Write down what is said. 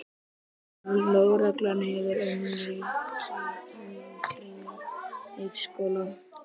Lögreglan hefur umkringt leikskólann